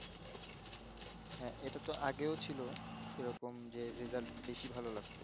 হ্যাঁ এটা তো আগেও ছিল এরকম যে রেজাল্ট বেশি ভালো লাগতো